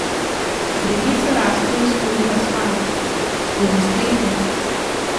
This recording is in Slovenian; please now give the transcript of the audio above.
Drevesa rastejo skozi asfalt, skozi strehe.